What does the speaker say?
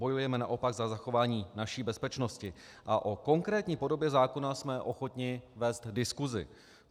Bojujeme naopak za zachování naší bezpečnosti a o konkrétní podobě zákona jsme ochotni vést diskusi.